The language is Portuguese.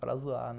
Para zoar, né?